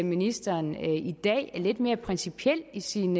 ministeren i dag er lidt mere principiel i sin